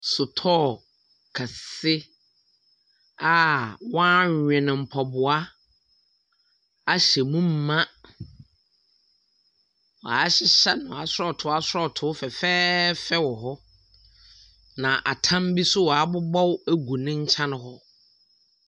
Sotɔɔ kɛse a wɔawene mpaboa ahyɛ mu ma. Ɔahyehyɛ no asɔɔtoo asɔɔtoo fɛfɛɛfɛ wɔ hɔ. Na atam bi nso ɔabobɔw agu ne nkyɛn hɔ.